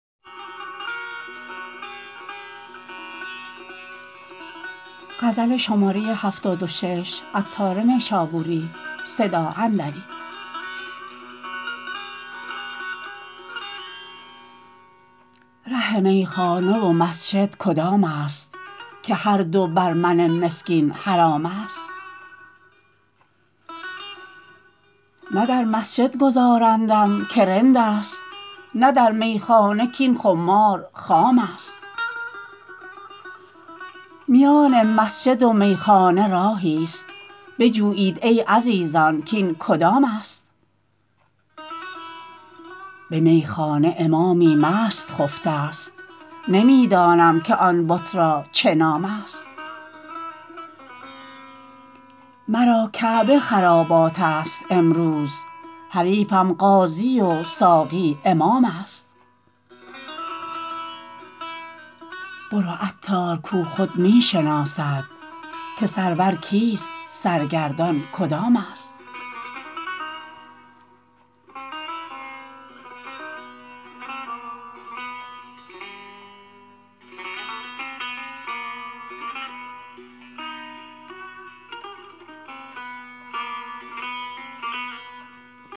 ره میخانه و مسجد کدام است که هر دو بر من مسکین حرام است نه در مسجد گذارندم که رند است نه در میخانه کین خمار خام است میان مسجد و میخانه راهی است بجویید ای عزیزان کین کدام است به میخانه امامی مست خفته است نمی دانم که آن بت را چه نام است مرا کعبه خرابات است امروز حریفم قاضی و ساقی امام است برو عطار کو خود می شناسد که سرور کیست سرگردان کدام است